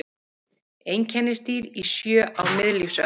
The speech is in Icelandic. Einkennisdýr í sjó á miðlífsöld.